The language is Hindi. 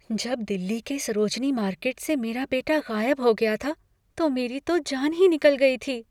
जब दिल्ली के सरोजनी मार्केट से मेरा बेटा गायब हो गया था, तो मेरी तो जान ही निकल गई थी।